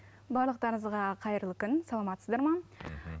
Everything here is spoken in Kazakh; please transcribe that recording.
барлықтарыңызға қайырлы күн саламатсыздар ма мхм